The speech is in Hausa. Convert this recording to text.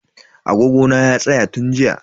Agogo na ya tsaya tun jiya.